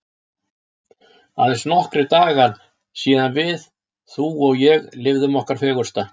Aðeins nokkrir dagar síðan við þú og ég lifðum okkar fegursta.